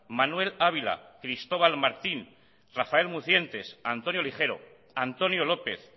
manuel ávila cristóbal martín rafael mucientes antonio ligero antonio lópez